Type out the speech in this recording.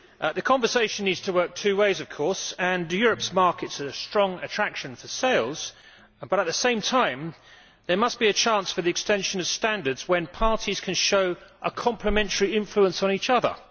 The conversation needs to work two ways of course and Europe's markets are the strong attraction for sales, but at the same time there must be a chance for the extension of standards when parties can show a complementary influence on each other.